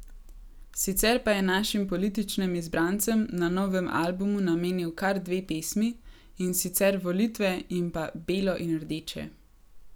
Sicer pa je našim političnim izbrancem na novem albumu namenil kar dve pesmi, in sicer Volitve in pa Belo in rdeče.